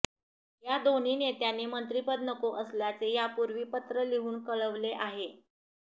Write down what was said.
या दोन्ही नेत्यांनी मंत्रिपद नको असल्याचे यापूर्वीच पत्र लिहून कळवले आहे